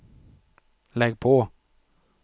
lägg på